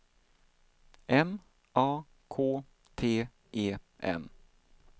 M A K T E N